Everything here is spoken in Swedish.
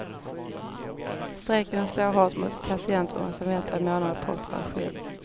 Strejken slår hårt mot patienter som väntat i månader på operation.